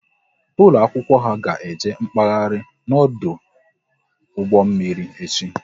Ụlọ akwụkwọ ha ga eje mkpaghari n'ọdụ ụgbọ mmiri echi